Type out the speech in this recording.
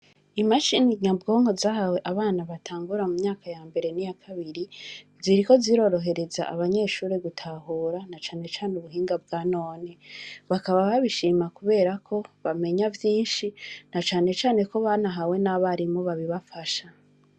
Imashine Nyabwonko, zahawe abana batangura mumyaka yambere niyakabiri, ziriko zirohereza abanyeshure gutahura, nacane cane ubuhinga bwa none. Nakaba babishima kuberako, bamenya vyishi, nacane cane ko banahawe n'Abarimu babibafasha.